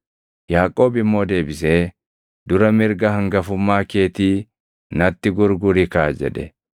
Yaaqoob immoo deebisee, “Dura mirga hangafummaa keetii natti gurguri kaa” jedhe.